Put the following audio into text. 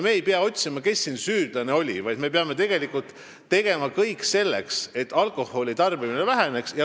Me ei pea mitte otsima, kes on siin süüdlane, vaid me peame tegema kõik selleks, et alkoholitarbimine väheneks.